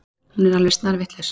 Hún er alveg snarvitlaus.